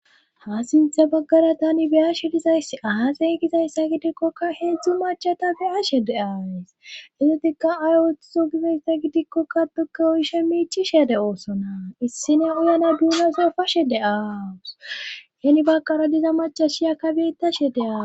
ha sintha baggara tani beya shedizayss ahaxey gizayssa gidikkoka heedzdzu machata beya shede ays hezotikka ay woththo gibesza gidikkokka tuke oyishe miichi shede oosona issine uyana duuna sofashe de aawus yeni baqara diza macha shiyakka beitta she de7aa